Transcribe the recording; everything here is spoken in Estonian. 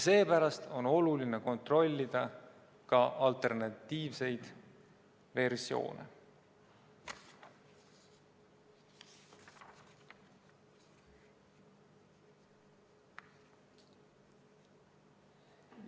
Seepärast on oluline kontrollida ka alternatiivseid versioone.